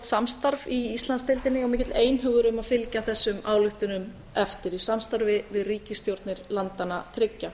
samstarf í íslandsdeildinni og mikill einhugur um að fylgja þessum ályktunum eftir í samstarfi við ríkisstjórnir landanna þriggja